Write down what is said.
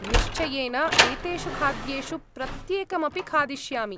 निश्चयेन एतेषु खाद्येषु प्रत्येकमपि खादिष्यामि।